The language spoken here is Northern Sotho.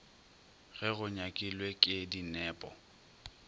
ge go nyakilwe ke dinepo